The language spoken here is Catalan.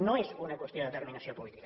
no és una qüestió de determinació política